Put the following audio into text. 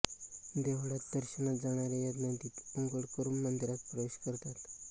देवळात दर्शनास जाणारे या नदीत अंघोळ करून मंदिरात प्रवेश करतात